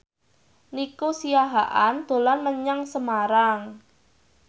Nico Siahaan dolan menyang Semarang